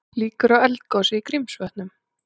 Líkur á eldgosi í Grímsvötnum